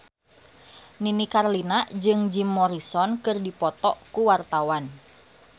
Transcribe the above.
Nini Carlina jeung Jim Morrison keur dipoto ku wartawan